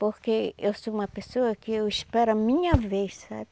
Porque eu sou uma pessoa que eu espero a minha vez, sabe?